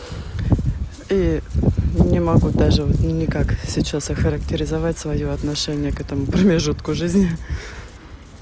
не могу даже не как сейчас охарактеризовать своё отношение к своему промежутку жизни